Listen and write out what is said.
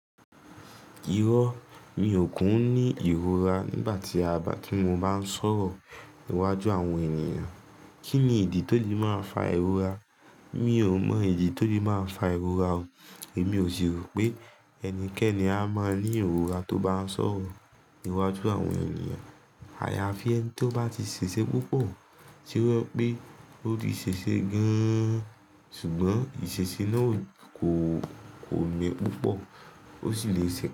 Irọ́, mi ò kún ní ìrora nígbà tí a, nígbà tí mo bá ń sọ̀rọ̀ iwájú àwọn ènìyàn. Kí ni ìdí tó lè máa ń fa ìrora? Mi ò mọ ìdí tó lè máa ń fa ìrora o. Èmi ò ṣì rò pé ẹnikẹ́ni a máa ní ìrora tó bá ń sọ̀rọ̀ iwájú àwọn ènìyàn. Àyàfi ẹni tí ó bá ti ṣeṣe púpọ̀ tí ó jẹ pé ó ti ṣeṣe gaaan. Ṣùgbọ́n ìṣeṣe náà kò, kò lè púpọ̀, ó sì lè ṣẹ́kùn.